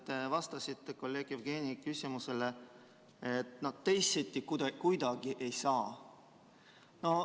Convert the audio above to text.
Te vastasite kolleeg Jevgeni küsimusele, et no teisiti kuidagi ei saa.